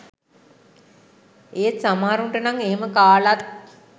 ඒත් සමහරුන්ට නං එහෙම කාලත්